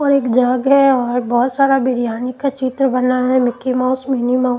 और एक जाग है और बहुत सारा बिरयानी का चित्र बना मिक्की माउस मिनी माउस --